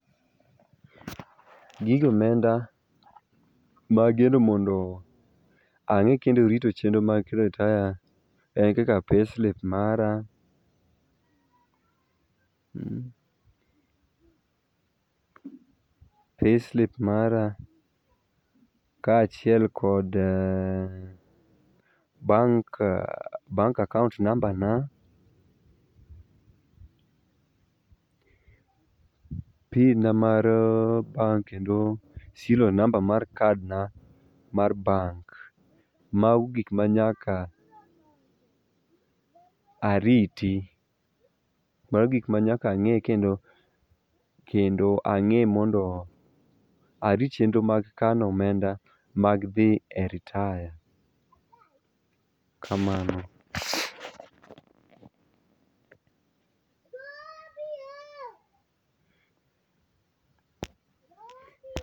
Gige omenda mageno mondo ang'e kendo rito chenro mag ritaya en kaka payslip mara, mmh, payslip[sc] mara kachiel kod bank, bank akaunt namba na pin na mar bank kendo serial namba mar kad na mar bank[sc].Mago gik manyaka ariti, mago gik ma nyaka ange kendo, kendo ange mondo arit chenro mag kano omenda mag dhi e ritaya, kamano